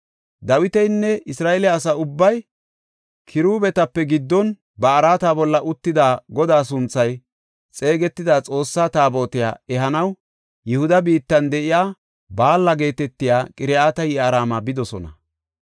Dawitinne Isra7eele asa ubbay kiruubetape giddon ba araata bolla uttida Godaa sunthay xeegetida Xoossa Taabotiya ehanaw Yihuda biittan de7iya Baala geetetiya Qiriyat-Yi7aarima bidosona.